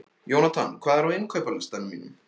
Jónatan, hvað er á innkaupalistanum mínum?